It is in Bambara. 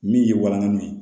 Min ye walangali ye